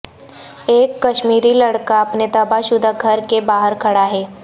ایک کشمیری لڑکا اپنے تباہ شدہ گھر کے باہر کھڑا ہے